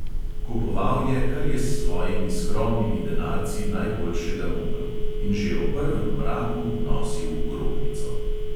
Kupoval je, kar je s svojimi skromnimi denarci najboljšega mogel, in že o prvem mraku nosil v grobnico.